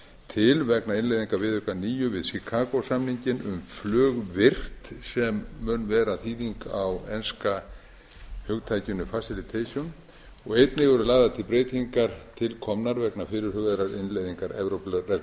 til vegna innleiðingar viðauka níu við chicago samninginn um flugvirkt sem mun vera þýðing á enska hugtakinu og einnig eru lagðar til breytingar til komnar vegna fyrirhugaðrar innleiðingar